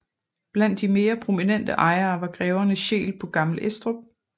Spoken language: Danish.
Blandt de mere prominente ejere var greverne Scheel på Gammel Estrup